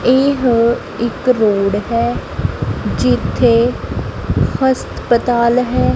ਇਹ ਇੱਕ ਰੋਡ ਹੈ ਜਿੱਥੇ ਹਸਪਤਾਲ ਹੈ।